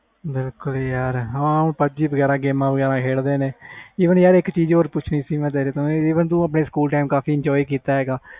ਬਿਲਕੁਲ ਯਾਰ ਬਾਕੀ games ਵਗੈਰਾ ਖੇਡ ਦੇ ਨੇ even ਇਕ ਚੀਜ਼ ਹੋਰ ਪੁੱਛਣੀ ਸੀ ਮੈਂ ਤੈਨੂੰ even ਤੋਂ ਆਪਣੇ ਸਕੂਲ time ਬਹੁਤ enjoy ਕੀਤਾ ਆ